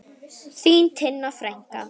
Þín Tinna frænka.